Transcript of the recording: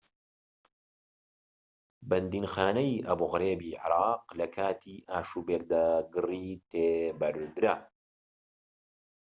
بەندیخانەی ئەبو غرێبی عێراق لە کاتی ئاشوبێکدا گڕی تێبەردرا